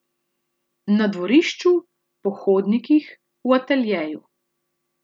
Na dvorišču, po hodnikih, v ateljeju.